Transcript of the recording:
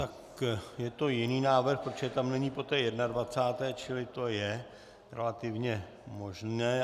Tak je to jiný návrh, protože tam není po té 21., čili to je relativně možné.